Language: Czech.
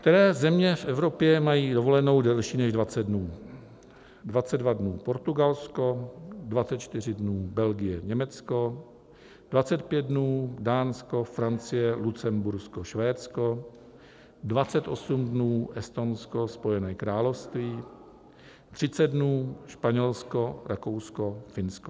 Které země v Evropě mají dovolenou delší než 20 dnů: 22 dnů Portugalsko, 24 dnů Belgie, Německo, 25 dnů Dánsko, Francie, Lucembursko, Švédsko, 28 dnů Estonsko, Spojené království, 30 dnů Španělsko, Rakousko, Finsko.